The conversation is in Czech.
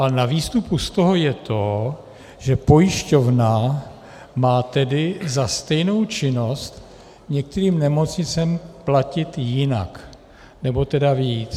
Ale na výstupu z toho je to, že pojišťovna má tedy za stejnou činnost některým nemocnicím platit jinak, nebo tedy víc.